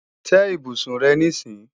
Tẹ́ ibùsùn rẹ níìsín!